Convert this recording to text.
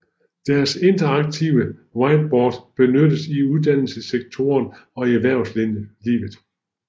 Deres interaktive whiteboards benyttes i uddannelsessektoren og i erhvervslivet